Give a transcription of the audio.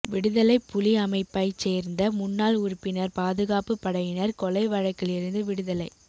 விடுதலைப் புலி அமைப்பைச் சேர்ந்த முன்னாள் உறுப்பினர் பாதுகாப்பு படையினர் கொலை வழக்கிலிருந்து விடுதலை